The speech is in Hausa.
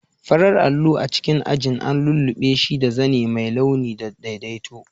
Farar allo a cikin ajin an lullube shi da zane mai launi da daidaito.